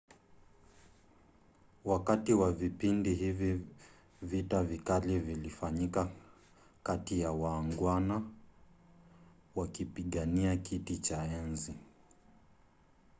wakati wa vipindi hivi vita vikali vilifanyika kati ya waangwana wakipigania kiti cha enzi